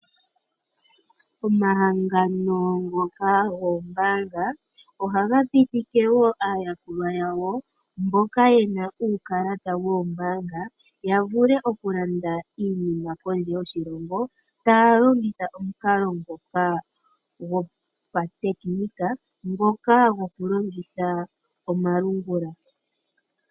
Omahangano ngoka goombaanga ohaga pitike woo aayakulwa yawo mboka yena uukalata woombaanga yavulu okulanda iinima pondje yoshilongo taya longitha omukalo ngoka gopa tekinika ngoka goku longitha omalungula.